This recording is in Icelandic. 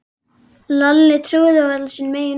Lalli trúði varla sínum eigin augum.